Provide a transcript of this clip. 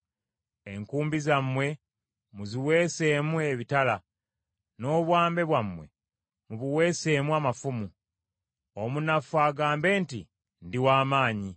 Enkumbi zammwe muziweeseemu ebitala, n’obwambe bwammwe mubuweeseemu amafumu; omunafu agambe nti, “Ndi wa maanyi.”